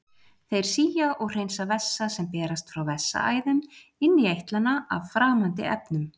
Þeir sía og hreinsa vessa sem berast frá vessaæðum inn í eitlana af framandi efnum.